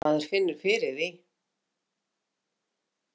Maður finnur fyrir því.